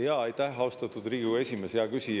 Jaa, aitäh, austatud Riigikogu esimees!